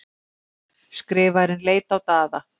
Skrifarinn leit á Daða.